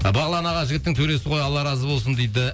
бағлан аға жігіттің төресі ғой алла разы болсын дейді